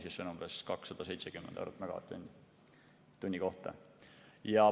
See on umbes 270 eurot megavatt-tunni kohta.